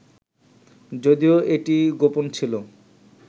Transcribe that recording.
যদিও এটি গোপন ছিল